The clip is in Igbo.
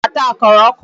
Ha na-ata akara ọkụ.